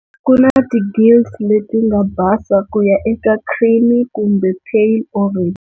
Kuna ti gills letinga basa kuya eka creamy kumbe pale orange.